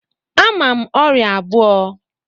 Ama m ọrịa abụọ.